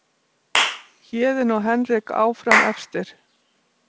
Héðinn og Henrik áfram efstir